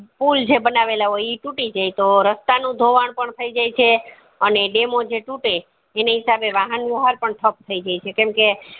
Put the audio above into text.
pool જે બનેવેલા હોય એ તૂટી જાય તો રસ્તા નું ધોવાણ પણ થય જાય છે અને જો dam ઓ તૂટે એની હિસાબે વહન નું આહાર પણ થપ થય જાય છે કેમકે